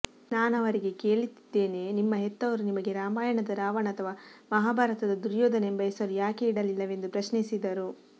ನಾನವರಿಗೆ ಕೇಳತ್ತಿದ್ದೇನೆ ನಿಮ್ಮ ಹೆತ್ತವರು ನಿಮಗೆ ರಾಮಾಯಣದ ರಾವಣ ಅಥವಾ ಮಹಾಭಾರತದ ದುರ್ಯೋಧನ ಎಂಬ ಹೆಸರು ಯಾಕೆ ಇಡಲಿಲ್ಲವೆಂದು ಪ್ರಶ್ನಿಸಿದರು